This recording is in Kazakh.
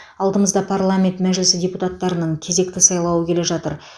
алдымызда парламент мәжілісі депутаттарының кезекті сайлауы келе жатыр